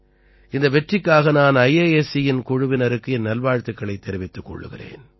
இந்த வெற்றிக்காக நான் ஐஐஎஸ்சி யின் குழுவினருக்கு என் வாழ்த்துக்களைத் தெரிவித்துக் கொள்கிறேன்